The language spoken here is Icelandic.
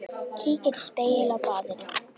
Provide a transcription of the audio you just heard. Kíkir í spegil á baðinu.